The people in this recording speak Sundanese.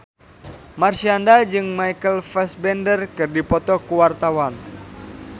Marshanda jeung Michael Fassbender keur dipoto ku wartawan